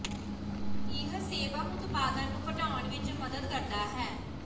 ਇਹ ਸੇਬਮ ਉਤਪਾਦਨ ਨੂੰ ਘਟਾਉਣ ਵਿਚ ਮਦਦ ਕਰਦਾ ਹੈ